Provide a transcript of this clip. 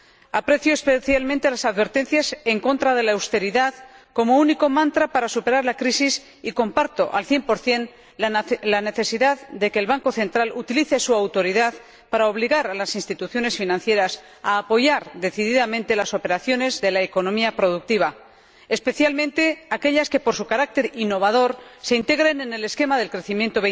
Aprecio especialmente las advertencias en contra de la austeridad como único mantra para superar la crisis, y comparto al cien por cien la necesidad de que el Banco Central Europeo utilice su autoridad para obligar a las instituciones financieras a apoyar decididamente las operaciones de la economía productiva, especialmente aquellas que por su carácter innovador se integren en el esquema del crecimiento